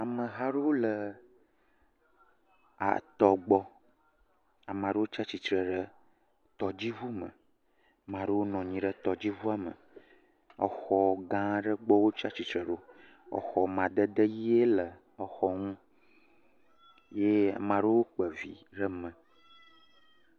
Ameha aɖewo le atɔ gbɔ, ame ɖewo tsatsitre ɖe tɔdziŋu me, amea ɖewo nɔ anyi ɖe tɔdziŋua me, exɔ gã aɖe gbɔ wo tsatsitre ɖo, exɔ amadede ʋɛ̃e le exɔ ŋu ye amea ɖewo kpa vi ɖe me.